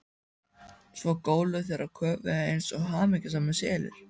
Svo góluðu þeir og köfuðu eins og hamingjusamir selir.